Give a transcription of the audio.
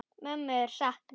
Mömmu er saknað.